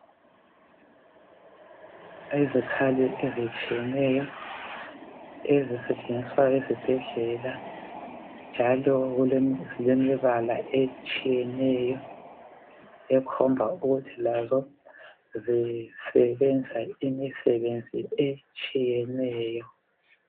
Izikhali ezitshiyeneyo ezisetshenziswa ezibhedlela njalo zilemibala etshiyeneyo ekhomba ukuthi lazo zisebenza imisebenzi etshiyeneyo.